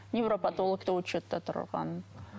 невропатологта учетта тұрған